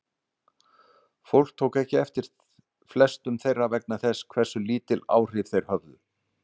Fólk tók ekki eftir flestum þeirra vegna þess hversu lítil áhrif þeir höfðu.